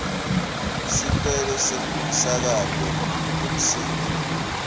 sicelo semsakato wemsindvo